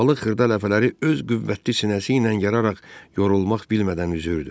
Balıq xırda ləpələri öz qüvvətli sinəsi ilə yararaq yorulmaq bilmədən üzürdü.